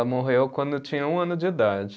Morreu quando eu tinha um ano de idade.